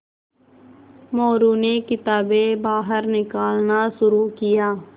मोरू ने किताबें बाहर निकालना शुरू किया